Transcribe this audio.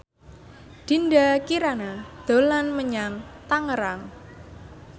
Dinda Kirana dolan menyang Tangerang